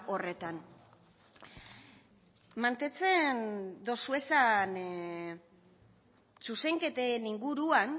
horretan mantentzen dozue esan zuzenketen inguruan